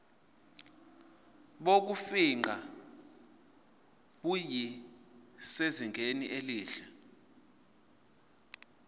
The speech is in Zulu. bokufingqa busezingeni elihle